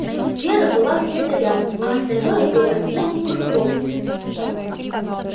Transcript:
вера была где-то рядом а остальное было не в фокусе